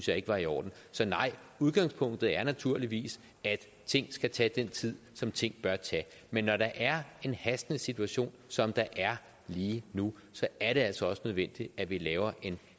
jeg ikke var i orden så nej udgangspunktet er naturligvis at ting skal tage den tid som ting bør tage men når der er en hastende situation som der er lige nu så er det altså også nødvendigt at vi laver en